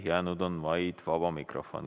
Jäänud on vaid vaba mikrofon.